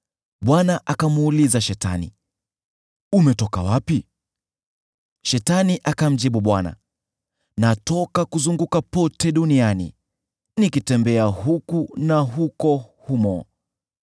Bwana akamuuliza Shetani, “Umetoka wapi?” Shetani akamjibu Bwana “Natoka kuzunguka pote duniani, nikitembea huku na huko humo.”